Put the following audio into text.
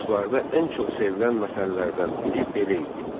Oğuzlarda ən çox sevilən məsəllərdən biri belə idi.